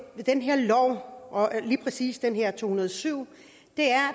ved den her lov lige præcis det her to hundrede og syv